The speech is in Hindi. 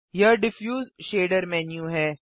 यह डिफ्यूज शेडर मेन्यू है